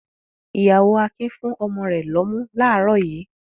Ìyàwó Akin fún ọmọ rẹ̀ lọ́mú láàárọ̀ yìí.